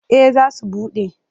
Eh za su buɗe.